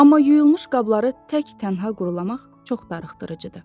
Amma yuyulmuş qabları tək-tənha qurlamaq çox darıxdırıcıdır.